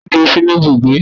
Ta ní yóò dúró sinú Ibúgbe?